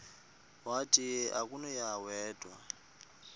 wathi akunakuya wedw